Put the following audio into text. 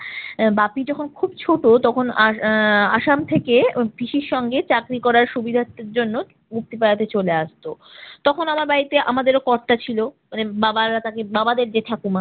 আহ বাপী যখন খুব ছোট তখন আস~ আহ আসাম থেকে পিসির সঙ্গে চাকরি করার সুবিধার্থের জন্য মুক্তিপাড়াতে চলে আসত। তখন আমার বাড়িতে আমাদেরও কর্তা ছিল আহ বাবারা তাকে বাবাদের যে ঠাকুর মা